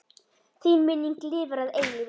Þín minning lifir að eilífu.